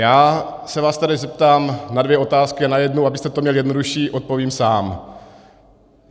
Já se vás tedy zeptám na dvě otázky a na jednu, abyste to měl jednodušší, odpovím sám.